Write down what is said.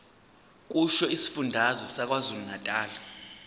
kusho isifundazwe sakwazulunatali